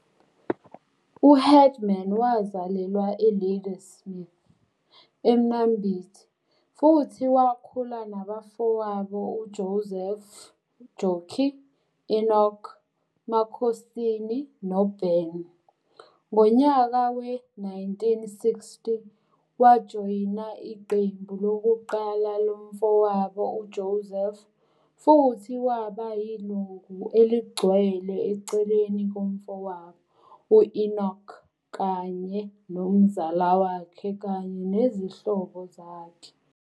U-Headman wazalelwa eLadysmith, eMnambithi futhi wakhula nabafowabo uJoseph, Jockey, Enoch, Makhosini noBen. Ngonyaka we-1960, wajoyina iqembu lokuqala lomfowabo uJoseph futhi waba yilungu elicgcwele eceleni komfowabo u-Enoch kanye nomzala wakhe kanye nezihlobo zakhe.